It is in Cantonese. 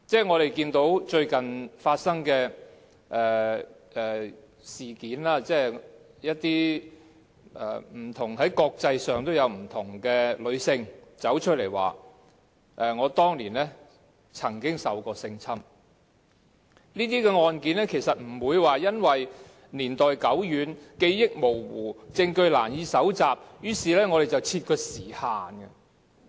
我們看到最近發生的事件，在國際上有不同的女性走出來說當年曾受性侵，這些案件不會因為年代久遠、記憶模糊、證據難以搜集便設有時限。